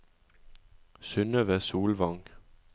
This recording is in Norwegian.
Synnøve Solvang